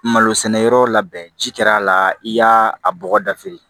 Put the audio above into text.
Malo sɛnɛ yɔrɔ labɛn ci kɛra a la i y'a bɔgɔ dafe